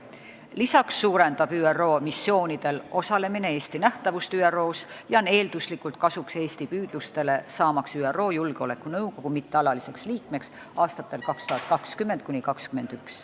Lisaks suurendab ÜRO missioonidel osalemine Eesti nähtavust ÜRO-s ja aitab eeldatavasti kaasa Eesti püüdlustele saada ÜRO Julgeolekunõukogu mittealaliseks liikmeks aastatel 2020 ja 2021.